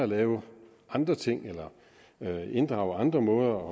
lave andre ting eller inddrage andre måder